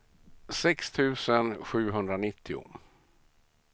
sex tusen sjuhundranittio